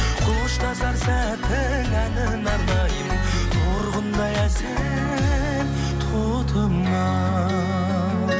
қоштасар сәттің әніне арнаймын торғындай әсем тотым ау